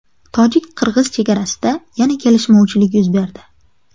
Tojik-qirg‘iz chegarasida yana kelishmovchilik yuz berdi.